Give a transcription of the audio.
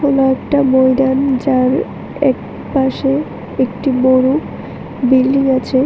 এটা একটা ময়দান যার এক পাশে একটি বড় বিল্ডিং আছে।